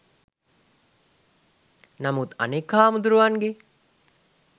නමුත් අනෙක් හාමදුරුවන්ගෙ